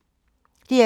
DR2